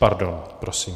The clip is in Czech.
Pardon, prosím.